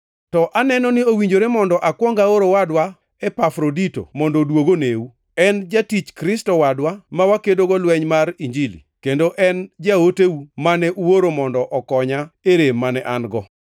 To aneno ni owinjore mondo akwong aor owadwa Epafrodito mondo oduog oneu. En jatich Kristo wadwa ma wakedogo lweny mar Injili, kendo en jaoteu mane uoro mondo okonya e rem mane an-go.